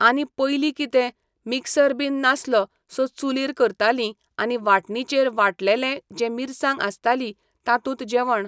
आनी पयलीं कितें, मिक्सर बीन नासलो सो चुलीर करतालीं आनी वाटणीचेर वांट्टलेले जे मिरसांग आसताली तातूंत जेवण